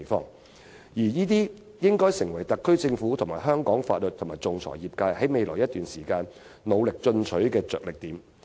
凡此種種，均應成為特區政府、香港法律界及仲裁業界未來一段時間努力進取的着力點。